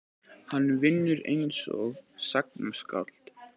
Hann vinnur einsog sagnaskáld.